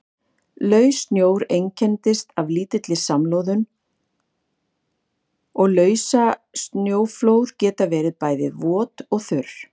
Laus snjór einkennist af lítilli samloðun og lausasnjóflóð geta verið bæði vot og þurr.